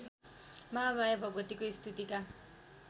महामाया भगवतीको स्तुतिका